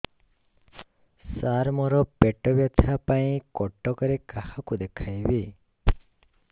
ସାର ମୋ ର ପେଟ ବ୍ୟଥା ପାଇଁ କଟକରେ କାହାକୁ ଦେଖେଇବି